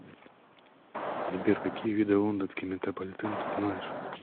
сбер какие виды лондонский метрополитен ты знаешь